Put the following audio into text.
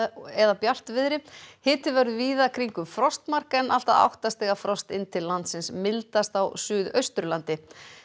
eða bjartviðri hiti verður víða kringum frostmark en allt að átta stiga frost inn til landsins mildast á Suðausturlandi